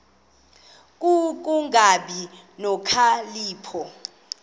ku kungabi nokhalipho